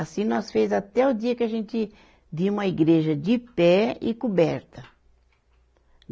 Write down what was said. Assim nós fez até o dia que a gente vimos a igreja de pé e coberta.